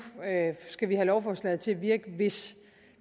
skal have lovforslaget til at virke hvis